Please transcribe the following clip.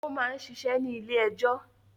Ó máa ń ṣiṣẹ́ ní ilé-ẹjọ́.